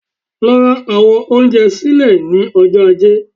Lọ ra àwọn oúnjẹ sílẹ̀ ní ọjọ́ Ajé